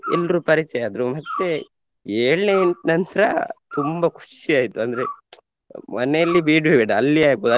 ಎಲ್ರು ಪರಿಚಯ ಆದ್ರು ಮತ್ತೇ ಏಳ್ನೇ ನಂತ್ರ ತುಂಬಾ ಖುಷಿಯಾಯಿತು ಅಂದ್ರೆ ಮನೆಯಲ್ಲಿ ಬೇಡ್ವೇ ಬೇಡ ಅಲ್ಲಿಯೇ ಆಗ್ಬೋದು.